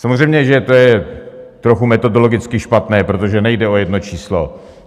Samozřejmě že to je trochu metodologicky špatně, protože nejde o jedno číslo.